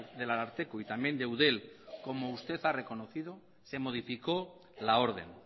del ararteko y también de eudel como usted ha reconocido se modificó la orden